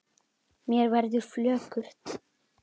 Mér verður flökurt